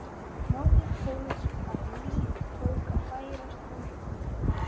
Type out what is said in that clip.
Norðurpóls að líf tók að færast í umhverfið.